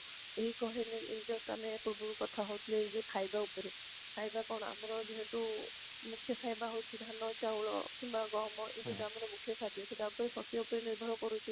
ଏଇ କହିଲେ ଏଇ just ଆମେ ପୂର୍ବରୁ କଥା ହେଉଥିଲେ ସେଇ ଯୋଉ ଖାଇବା ଉପରେ, ଖାଇବା କଣ ଆମର ଯେହେତୁ ମୁଖ୍ୟ ଖାଇବା ହୋଉଛି ଧାନ ଚାଉଳ କିମ୍ବା ଗହମ ଏଇ ଆମର ମୁଖ୍ୟ ଖାଦ୍ୟ ସେଟା ଉପର ନିର୍ଭର କରୁଛି